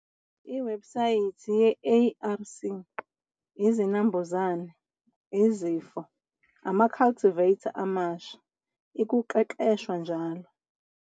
Lwebsayithi ye-ARC- Izinambuzane, izifo, ama-cultivar amasha, ikuqeqeshwa njll.